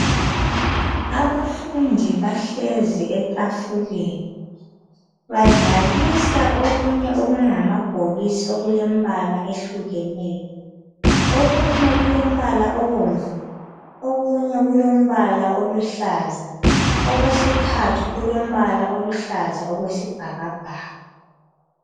Abafundi bahlezi etafuleni badlalisa okunye okungamabhokisi okulembala ehlukeneyo. Okunye kulombala obomvu, okunye kulombala oluhlaza okwesithathu kulombala oluhlaza okwesibhakabhaka.